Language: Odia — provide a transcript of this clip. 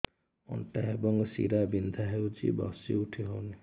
ଅଣ୍ଟା ଏବଂ ଶୀରା ବିନ୍ଧା ହେଉଛି ବସି ଉଠି ହଉନି